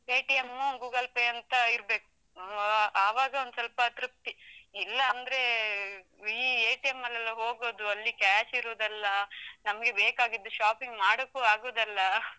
Paytm, Google Pay ಅಂತ ಇರ್ಬೇಕು, ಆ ಆವಾಗ ಒಂದ್ಸೊಲ್ಪ ತೃಪ್ತಿ, ಇಲ್ಲಾಂದ್ರೆ ಈ ಅಲ್ಲೆಲ್ಲಾ ಹೋಗುದು, ಅಲ್ಲಿ cash ಇರುದಲ್ಲ, ನಮ್ಗೆ ಬೇಕಾಗಿದ್ದು shopping ಮಾಡೋಕು ಆಗುದಲ್ಲ.